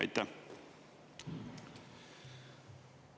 Aitäh!